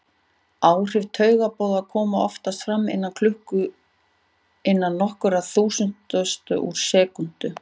Áhrif taugaboða koma oftast fram innan nokkurra þúsundustu úr sekúndu.